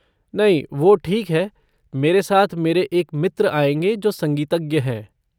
नहीं वो ठीक है, मेरे साथ मेरे एक मित्र आएँगे जो संगीतज्ञ हैं।